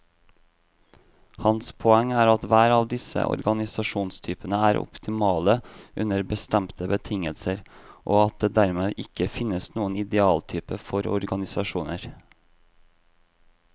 Hans poeng er at hver av disse organisasjonstypene er optimale under bestemte betingelser, og at det dermed ikke finnes noen idealtype for organisasjoner.